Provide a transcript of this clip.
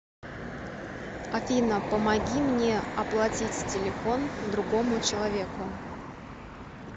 афина помоги мне оплатить телефон другому человеку